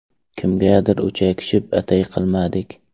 Kimgadir o‘chakishib, atay qilmadik.